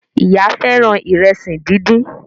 Ìyá fẹràn Ìrẹsí dín dín.